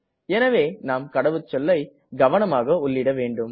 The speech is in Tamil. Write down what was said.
எனவே நாம் கடவுச்சொல்லை கவனமாக உள்ளிட வேண்டும்